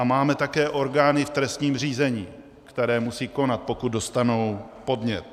A máme také orgány v trestním řízení, které musejí konat, pokud dostanou podnět.